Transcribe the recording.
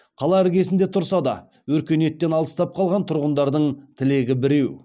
қала іргесінде тұрса да өркениеттен алыстап қалған тұрғындардың тілегі біреу